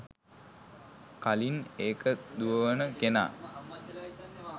කලින් ඒක දුවවන කෙනා